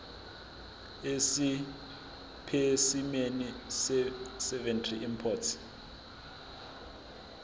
esipesimeni seveterinary import